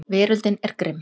Veröldin er grimm.